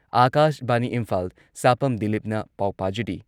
ꯑꯥꯀꯥꯁꯕꯥꯅꯤ ꯏꯝꯐꯥꯜ ꯁꯥꯄꯝ ꯗꯤꯂꯤꯞꯅ ꯄꯥꯎ ꯄꯥꯖꯔꯤ